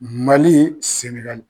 Mali Senegali .